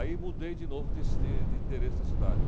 Aí mudei de novo de de de endereço da cidade.